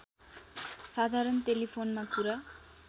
साधारण टेलिफोनमा कुरा